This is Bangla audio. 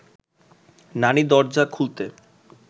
নানি দরজা খুলতে